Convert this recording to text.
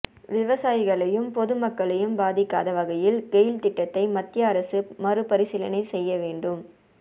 விவசாயிகளையும் பொது மக்களையும் பாதிக்காத வகையில் கெயில் திட்டத்தை மத்திய அரசு மறுபரிசீலனை செய்யவேண்டும்